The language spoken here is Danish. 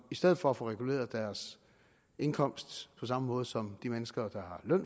i stedet for at få reguleret deres indkomst på samme måde som de mennesker der